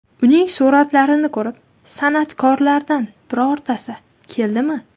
Uning suratlarini ko‘rib, san’atkorlardan birortasi keldimi?